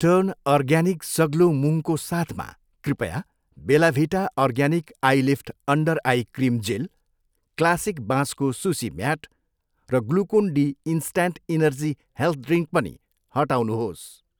Turn organic सग्लो मुङ्गको साथमा, कृपया Bella Vita organic eyelift under eye cream gel, classic बाँसको सुसी म्याट र Glucon D instant energy health drink पनि हटाउनुहोस्।